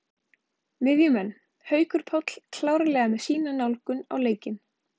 Miðjumenn: Haukur Páll klárlega með sína nálgun á leikinn.